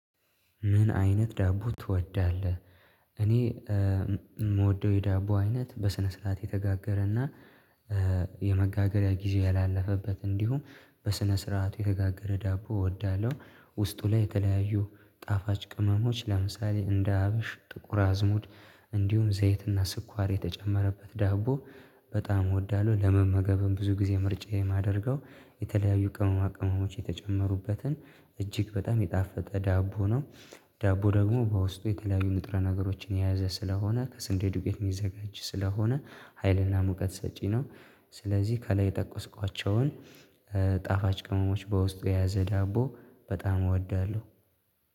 ምን አይነት ዳቦ ትወዳለህ? እኔ የምወደው የዳቦ አይነት በስነ ስርዓት የተጋገረና የመጋገሪያ ጊዜ ያላለፈበት እንዲሁም በስነ ስርዓት የተጋገረ ዳቦ እወዳለሁ። ውስጡ ላይ የተለያዩ ጣፋጭ ቅመሞች ለምሳሌ እንደ አብሽ ጥቁር አዝሙድ እንዲሁም ዘይትና ስኳር የተጨመረበት ዳቦ በጣም እወዳለሁ ለመመገብም ብዙ ጊዜ ምርጫዬን የማደርገው የተለያዩ ቅመማ ቅመሞች የተጨመሩበትን እጅግ በጣም የጣፈጠ ዳቦ ነው። ዳቦ ደግሞ በውስጡ የተለያዩ ንጥረ ነገሮችን የያዘ ስለሆነ ከስንዴ ዱቄት የሚዘጋጅ ስለሆነ ሀይልና ሙቀት ሰጪ ነው። ስለዚህ ከላይ የጠቀስኳቸውን ጣፋጭ ቅመሞች በውስጡ የያዘ ዳቦ በጣም እወዳለሁ።